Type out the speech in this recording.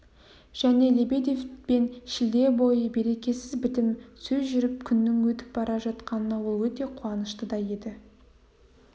және лебедевпен шілде бойы берекесіз бітім сөз жүріп күннің өтіп бара жатқанына ол өте қуанышты да еді